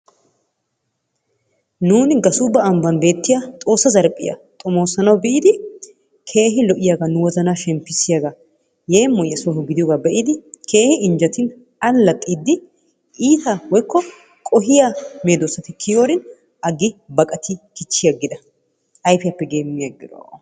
Nuuni gassuubba ambbaan beettiyaa xoossa zarphphiyaa xoomosanawu biidi keehi lo"iyaa nu wozanaa shemppisiyaaga yeemoyiyaa sooho gidiyoogaa be'idi keehin injjetin al"axiidi iita woykko qohiyaa meedoosati kiyiyoorin aggi kichchi aggida ayfiyaappe geemmi aggida.